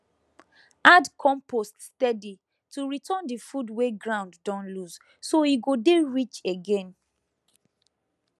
add compost steady to return the food wey ground don lose so e go dey rich again